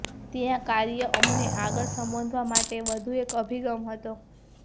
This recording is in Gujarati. ત્યાં કાર્ય અમને આગળ સંબોધવા માટે વધુ એક અભિગમ હતો